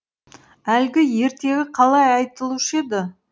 әлгі ертегі қалай айтылушы еді